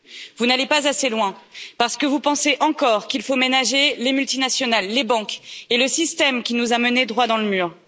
Vous n'allez pas assez loin, parce que vous pensez encore qu'il faut ménager les multinationales, les banques et le système qui nous a menés droit dans le mur.